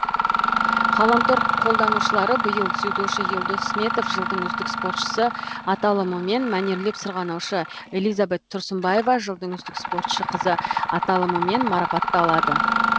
ғаламтор қолданушылары биыл дзюдошы елдос сметов жылдың үздік спортшысы аталымымен мәнерлеп сырғанаушы элизабет тұрсынбаева жылдың үздік спортшы қызы аталымымен марапатталды